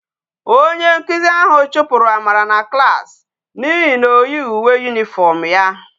Onye nkuzi ahu chupuru amara na klas na ihe na oyighi uwe uniform ya